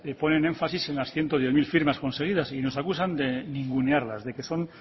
ponen énfasis en las ciento diez mil firmas conseguidas y nos acusan de ningunearlas de que son